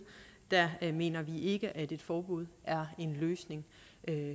mener vi ikke at et forbud er en løsning